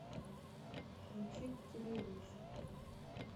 включить телевизор